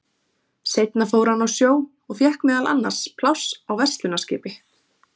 seinna fór hann á sjó og fékk meðal annars pláss á verslunarskipi